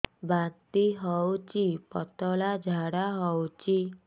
ବାନ୍ତି ହଉଚି ପତଳା ଝାଡା ହଉଚି